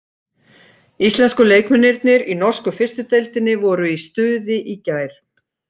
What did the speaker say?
Íslensku leikmennirnir í norsku fyrstu deildinni voru í stuði í gær.